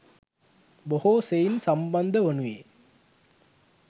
බොහෝ සෙයින් සම්බන්ධ වනුයේ